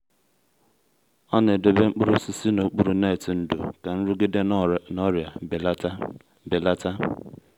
ọ na-edobe mkpụrụ osisi n’okpuru netị ndò ka nrụgide na ọrịa belata. belata.